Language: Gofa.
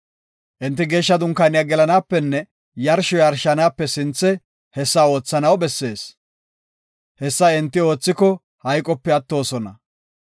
Enti Geeshsha Dunkaaniya gelanaapenne yarsho yarshanaape sinthe hessa oothanaw bessees. Hessa enti oothiko hayqope attoosona.